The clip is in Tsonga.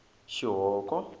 xihoko